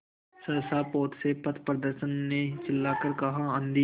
सहसा पोत से पथप्रदर्शक ने चिल्लाकर कहा आँधी